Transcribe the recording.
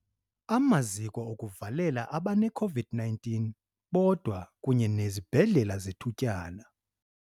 Amaziko okuvalela abaneCOVID-19 bodwa kunye nezibhedlele zethutyana.